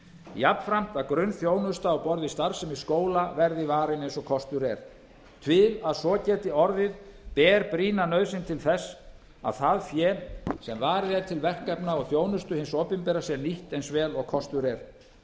jafnframt að grunnþjónusta á borð við starfsemi skóla verði varin eins og kostur er til að svo geti orðið ber brýna nauðsyn til þess að það fé sem varið er til verkefna og þjónustu hins opinbera sé nýtt eins vel og kostur er